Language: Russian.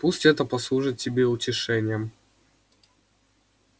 пусть это послужит тебе утешением